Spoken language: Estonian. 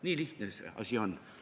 Nii lihtne see asi ongi.